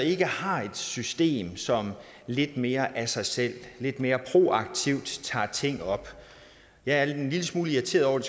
ikke har et system som lidt mere af sig selv lidt mere proaktivt tager ting op jeg er en lille smule irriteret over at